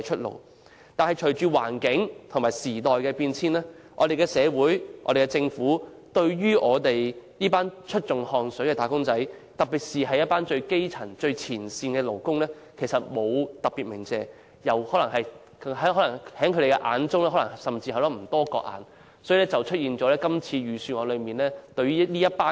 然而，隨着環境和時代變遷，我們的社會和政府對於這群出盡汗水的"打工仔"，尤其最基層和最前線的勞工並沒有特別感謝，甚至不把他們放在眼內，結果令他們成為這份財政預算案中被遺忘的一群。